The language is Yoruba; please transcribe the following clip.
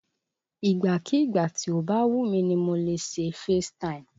Ìgbàkígbà tí ó bá wù mí ni mo lè ṣe FaceTime